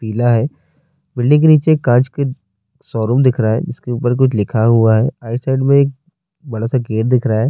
پلہ ہے، بلڈنگ کے نیچے کانچ ک شوروم دکھ رہا ہے، اسکے اپرکچھ لکھا ہوا ہے--